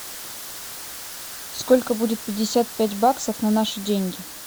сколько будет пятьдесят пять баксов на наши деньги